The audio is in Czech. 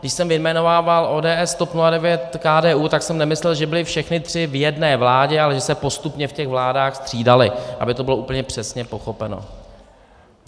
Když jsem vyjmenovával ODS, TOP 09, KDU, tak jsem nemyslel, že byly všechny tři v jedné vládě, ale že se postupně v těch vládách střídaly, aby to bylo úplně přesně pochopeno.